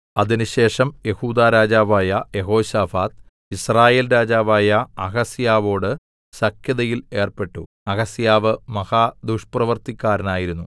അതിനുശേഷം യെഹൂദാ രാജാവായ യെഹോശാഫാത്ത് യിസ്രായേൽ രാജാവായ അഹസ്യാവോട് സഖ്യതയിൽ ഏർപ്പെട്ടു അഹസ്യാവ് മഹാ ദുഷ്പ്രവൃത്തിക്കാരനായിരുന്നു